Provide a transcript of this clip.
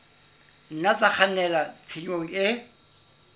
nna tsa kgannela tshenyong e